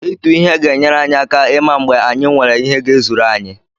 Ịtụ ihe na-enyere anyị aka ịma mgbe anyị nwere ihe ga-ezuru anyị.